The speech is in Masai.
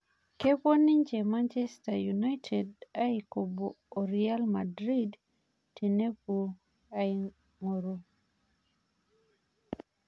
Kepuo ninje Manchester united aikobo o Real Madrid tenepuo aing'oru